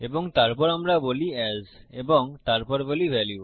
এবং তারপর আমরা বলি এএস এবং তারপর বলি ভ্যালিউ